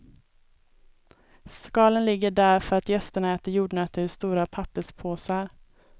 Skalen ligger där för att gästerna äter jordnötter ur stora papperspåsar.